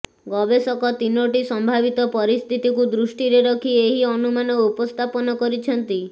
ଗବେଷକ ତିନୋଟି ସମ୍ଭାବିତ ପରିସ୍ଥିତିକୁ ଦୃଷ୍ଟିରେ ରଖି ଏହି ଅନୁମାନ ଉପସ୍ଥାପନ କରିଛନ୍ତି